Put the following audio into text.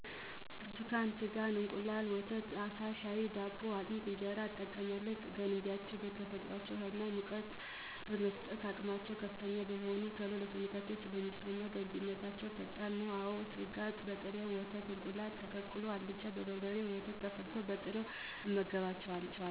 ብርቱካን, ስጋ፣ እንቁላል፣ ወተት፣ አሳ፣ ሻይ፣ ዳቦ፣ አጥሚት፣ እንጀራ እጠቀማለሁ, ገንቢነታቸዉ በተፈጥሮአቸዉ ሀይልና ሙቀት የመስጠት አቅማቸዉ ከፍተኛ በመሆኑ ቶሎ ለሰዉነታችን ስለሚስማሙ ገንቢነታቸዉ ፈጣን ነዉ። አወ ስጋ በጥሬ በወጥ፣ እንቁላል ተቀቅሎ፣ በአልጫ፣ በበርበሬ፣ ወተት ተፈልቶ፣ በጥሬዉ እንመገባቸዋለን።